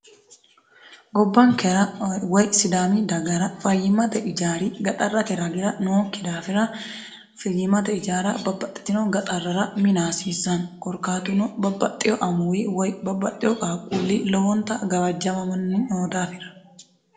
gobbankerawoy sidaami dagara fayimate ijaari gaxarrate ragira nookki daafira fiyimate ijaara babbaxxitino gaxarrara minaasiissan korkaatuno babbaxxiyo amuwi woy babbaxxio qaqquulli lowonta gawajjamamonni noo daafira